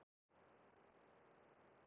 Gaman í skólanum?